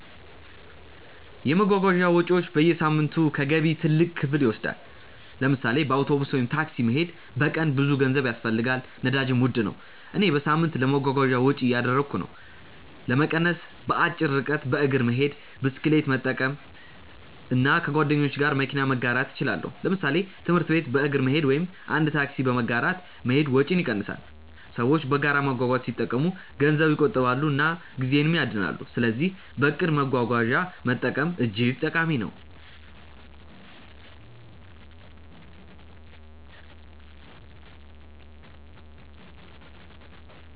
የመጓጓዣ ወጪዎች በየሳምንቱ ከገቢ ትልቅ ክፍል ይወስዳሉ። ለምሳሌ በአውቶቡስ ወይም ታክሲ መሄድ በቀን ብዙ ገንዘብ ያስፈልጋል፣ ነዳጅም ውድ ነው። እኔ በሳምንት ለመጓጓዣ ወጪ እያደረግሁ ነው። ለመቀነስ በአጭር ርቀት በእግር መሄድ፣ ብስክሌት መጠቀም እና ከጓደኞች ጋር መኪና መጋራት እችላለሁ። ለምሳሌ ትምህርት ቤት በእግር መሄድ ወይም አንድ ታክሲ በመጋራት መሄድ ወጪን ይቀንሳል። ሰዎች በጋራ መጓጓዣ ሲጠቀሙ ገንዘብ ይቆጥባሉ እና ጊዜም ይድናል። ስለዚህ በእቅድ መጓጓዣ መጠቀም እጅግ ጠቃሚ ነው።